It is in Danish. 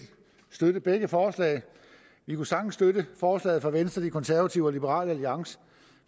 støtte begge forslag vi kunne sagtens støtte forslaget fra venstre de konservative og liberal alliance